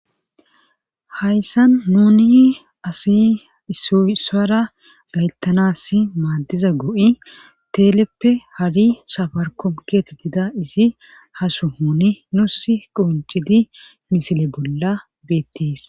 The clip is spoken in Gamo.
hayssan nuni asi isoy isuwara gaytanas maaddiza go7i teeleppe hari shafarko geetettida isi hasuhouni nusi quncidi misile bolla beettees.